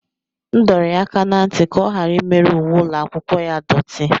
M dọrọ ya aka ná ntị ka ọ ghara imerụ uwe ụlọ akwụkwọ ya doti.